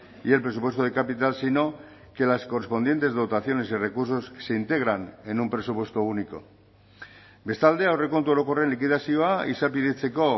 y el presupuesto de capital sino que las correspondientes dotaciones y recursos se integran en un presupuesto único bestalde aurrekontu orokorren likidazioa izapidetzeko